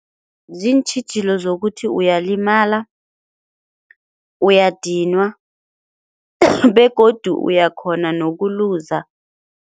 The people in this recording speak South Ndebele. Ziintjhijilo zokuthi uyalimala, uyadinwa begodu uyakghona nokuluza.